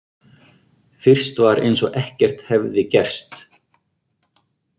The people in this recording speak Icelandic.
Fyrst var eins og ekkert hefði gerst.